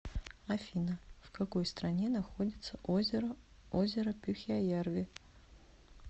афина в какой стране находится озеро озеро пюхяярви